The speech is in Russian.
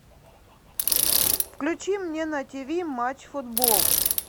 включи мне на тв матч футбол